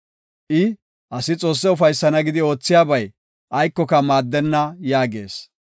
I, ‘Asi Xoosse ufaysana gidi oothiyabay aykoka maaddenna’ yaagees.